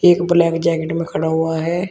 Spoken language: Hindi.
एक ब्लैक जैकेट में खड़ा हुआ है।